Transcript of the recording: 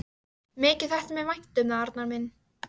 Mikið þætti mér vænt um það, Arnar minn!